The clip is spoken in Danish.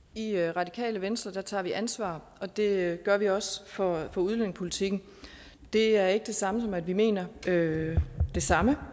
i radikale venstre tager vi ansvar og det gør vi også for udlændingepolitikken det er ikke det samme som at vi mener det samme